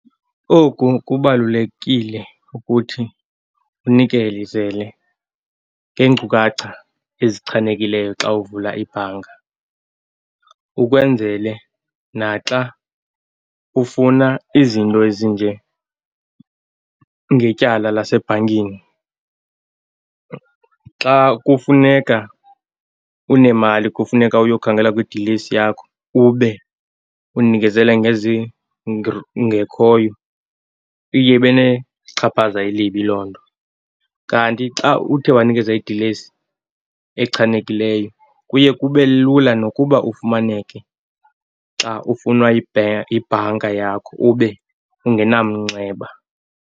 Oku kubalulekile ukuthi unikelizele ngeenkcukacha ezichanekileyo xa uvula ibhanka ukwenzele naxa ufuna izinto ezinjengetyala lasebhankini. Xa kufuneka unemali kufuneka uyokhangela kwidilesi yakho, ube unikezele ngekhoyo iye ibe nechaphaza elibi loo nto. Kanti xa uthe wanikeza idilesi echanekileyo kuye kube lula nokuba ufumaneke xa ufunwa yibhanka yakho, ube ungenamnxeba.